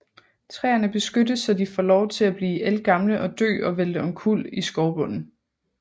Træerne beskyttes så de får lov til at blive ældgamle og dø og vælte omkuld i skovbunden